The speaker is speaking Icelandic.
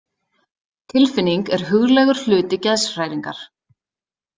Tilfinning er huglægur hluti geðshræringar.